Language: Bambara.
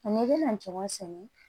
N'i bɛna jɔn sɛnɛ